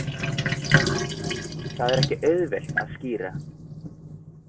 Það er ekki auðvelt að skýra.